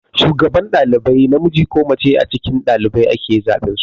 Shugaban ɗalibai namiji ko mace a cikin ɗalibai ake zaben su.